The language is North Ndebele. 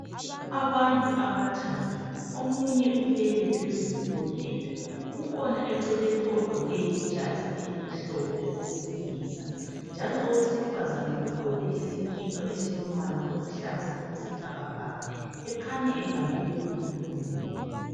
Abantu abathathu omunye ulele phezulu kombheda kukhona eceleni ogqoke ijazi elimhlophe owesilisa njalo owesifazana ugqoke isikipa esiluhlaza okwesibhakabhaka ukhanya ubumbe umuntu oleleyo